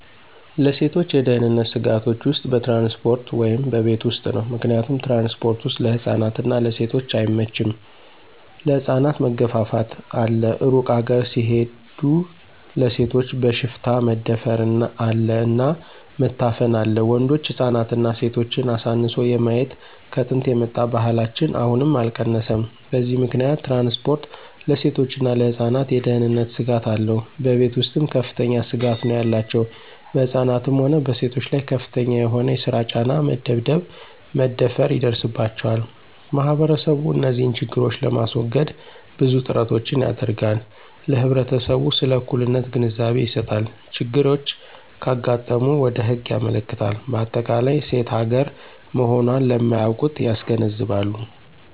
ለሴቶች የደህንነት ስጋቶች ውስጥ በትራንስፖርት ወይም በቤት ውስጥ ነው። ምክንያቱም ትራንስፖርት ወስጥ ለህፃናት እና ለሴቶች አይመቸም ለህፃናት መገፍፍት አለ እሩቅ ሀገር ሲሆድ ለሴቶች በሽፍታ መደፍር አለ እና መታፈን አለ ወንዶች ህፃናትና ሴቶችን አሳንሶ የማየት ከጥንት የመጣ ባህላችን አሁንም አልቀነሰም በዚህ ምከንያት ትራንስፖርት ለሴቶችና ለህፃናት የደህነንት ስጋት አለው። በቤተ ውስጥም ከፍተኛ ስጋት ነው ያላቸው በህፃናትም ሆነ በሴቶች ላይ ከፍተኛ የሆነ የሰራ ጫና፣ መደብደብ፣ መደፈራ ይደርስባቸዋል። ማህበረሰቡ እንዚህን ችግሮች ለማሰወገድ ብዙ ጥራቶችን ያደረጋል ለህብረተሰቡ ስለ እኩልነት ግንዛቤ ይሰጣል፣ ችግሮች ካጋጠሙ ወደ ህግ ያመለክታል በአጠቃላይ ሴት ሀገራ መሆኖን ለማያውቁት ያስገነዝባሉ።